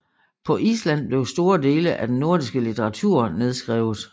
På Island blev store dele af den nordiske litteratur nedskrevet